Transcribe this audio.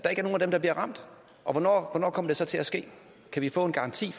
dem der bliver ramt og hvornår kommer det så til at ske kan vi få en garanti